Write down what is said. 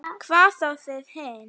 Hvað þá þið hin.